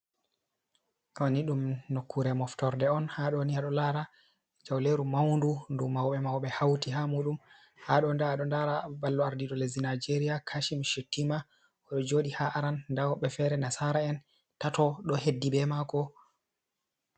Ɗo ni ɗum nokkure moftorde on, haa ɗoni a ɗo laara jawleeru mawndu. Ndu mawɓe mawɓe hawti haa muuɗum. Haa ɗo ndaa a ɗo ndara ballo ardiiɗo leddi Najeeriya Kashim Shettima o ɗo jooɗi haa aran, ndaa woɓɓe feere nasaara'en tato, ɗo heddi be maako.